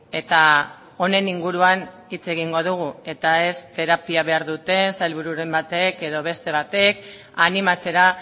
eta honen inguruan hitz egingo dugu eta ez terapia behar duten sailbururen batek edo beste batek animatzera